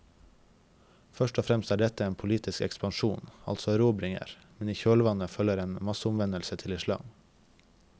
Først og fremst er dette en politisk ekspansjon, altså erobringer, men i kjølvannet følger en masseomvendelse til islam.